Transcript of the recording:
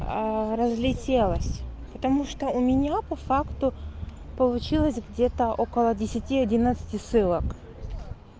разлетелась потому что у меня по факту получилось где-то около десяти одиннадцати ссылок